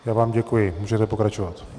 Já vám děkuji, můžete pokračovat.